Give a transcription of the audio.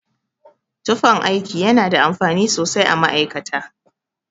Tufan aiki yana da amfani sosai a ma'aikata.